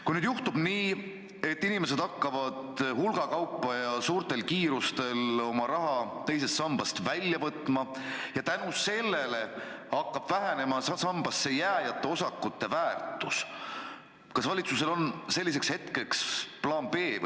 Kui nüüd juhtub nii, et inimesed hakkavad hulgakaupa ja suure kiirusega oma raha teisest sambast välja võtma ja seetõttu hakkab vähenema sambasse jääjate osakute väärtus, kas valitsusel on selleks puhuks plaan B?